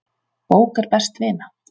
Bók er best vina.